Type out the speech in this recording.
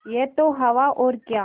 यह तो हवा और क्या